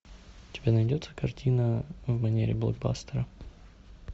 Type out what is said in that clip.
у тебя найдется картина в манере блокбастера